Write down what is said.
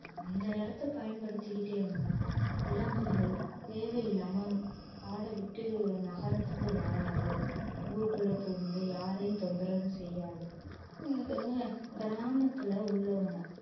அந்த இடத்தை பயன்படுத்திக்கிட்டே இருந்தா விலங்குகள் தேவையில்லாம காடாய் விட்டு நகரத்துக்கு வராது ஊருக்குள்ள புகுந்து யாரையும் தொந்தரவு செய்யாது கிராமத்துல உள்ளவங்க